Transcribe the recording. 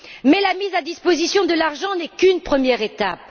Mais la mise à disposition de l'argent n'est qu'une première étape.